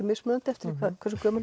mismunandi eftir hve gömul